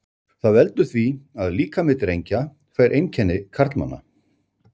Það veldur því að líkami drengja fær einkenni karlmanna.